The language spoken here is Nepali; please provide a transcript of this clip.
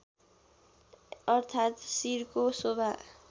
अर्थात् शिरको शोभा